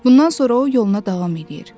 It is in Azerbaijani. Bundan sonra o yoluna davam eləyir.